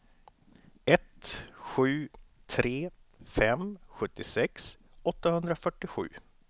ett sju tre fem sjuttiosex åttahundrafyrtiosju